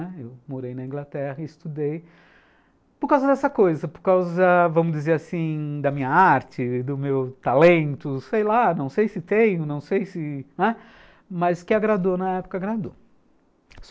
Eu morei na Inglaterra e estudei por causa dessa coisa, por causa, vamos dizer assim, da minha arte, do meu talento, sei lá, não sei se tenho, não sei se, não é... Mas que agradou, na época agradou.